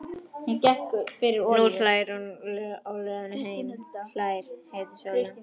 Nú hlær hún að honum á leiðinni heim, hlær í heitri sólinni.